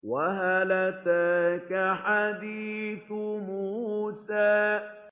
وَهَلْ أَتَاكَ حَدِيثُ مُوسَىٰ